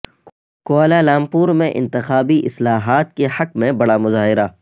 Kuala Lumpur میں انتخابی اصلاحات کے حق میں بڑا مظاہرہ